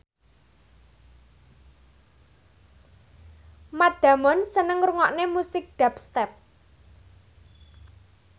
Matt Damon seneng ngrungokne musik dubstep